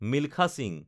Milkha Singh